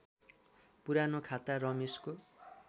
पुरानो खाता रमेशको